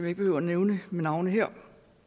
ikke behøver nævne ved navn her